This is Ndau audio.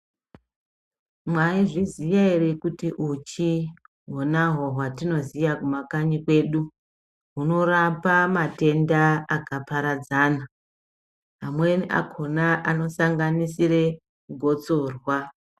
Mwaizviziya ere kuti uchi hona hwoo hwatinoziya kumakanyi kwedu hwunorapa matenda akaparadzana amweni akhona anosanganisire gotsorwa.